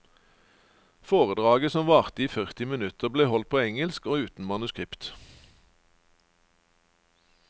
Foredraget, som varte i førti minutter, ble holdt på engelsk og uten manuskript.